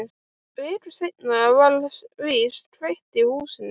Viku seinna var víst kveikt í húsinu.